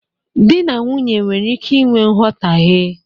Dị na nwunye nwere ike i nwe mghọtahie.